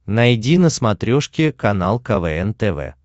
найди на смотрешке канал квн тв